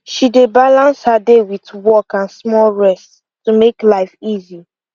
she dey balance her day wit work and small rest to make life easy